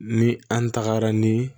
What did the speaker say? Ni an tagara ni